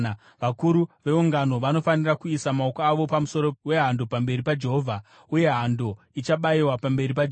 Vakuru veungano vanofanira kuisa maoko avo pamusoro wehando pamberi paJehovha uye hando ichabayiwa pamberi paJehovha.